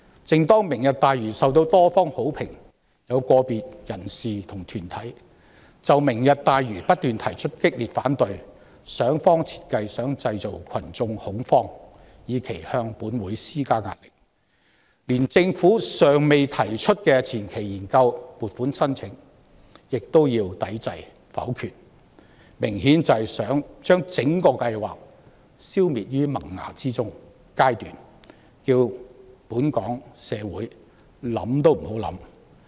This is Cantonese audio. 正當"明日大嶼願景"受到多方好評，有個別人士和團體卻不斷就此提出激烈反對，想方設法製造群眾恐慌，以期向本會施加壓力，連政府尚未提出的前期研究撥款申請亦想要抵制和否決，明顯想將整個計劃消滅於萌芽階段，讓社會想想也不能。